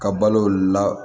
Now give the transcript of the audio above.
Ka balo la